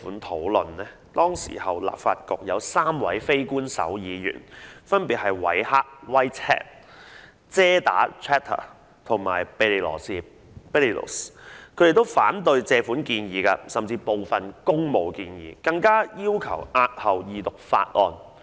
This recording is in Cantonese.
當年立法局有3位非官守議員，分別為韋赫、遮打和庇理羅士，他們均反對該項借款建議，甚至部分工務建議，更要求押後二讀法案。